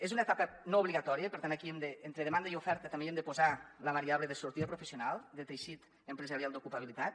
és una etapa no obligatòria i per tant aquí entre demanda i oferta també hi hem de posar la variable de sortida professional de teixit empresarial d’ocupabilitat